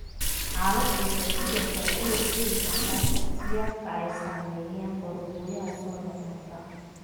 Xaaladdu waxay sidoo kale u horseedi kartaa shakhsiyaadka ay saameeyeen qoorgooyaha soo noqnoqda.